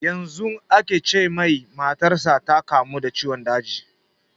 Yanzu aka ce mai matar sa ta kamu da ciwon daji